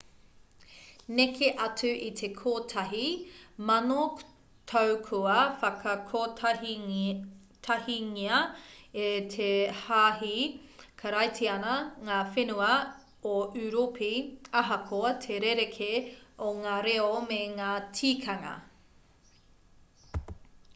neke atu i te kotahi mano tau kua whakakotahingia e te hāhi karaitiana ngā whenua o ūropi ahakoa te rerekē o ngā reo me ngā tikanga